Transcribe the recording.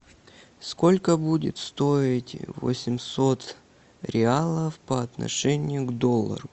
сколько будет стоить восемьсот реалов по отношению к доллару